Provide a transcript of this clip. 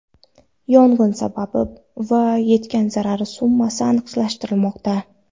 Yong‘in sababi va yetgan zarar summasi aniqlashtirilmoqda.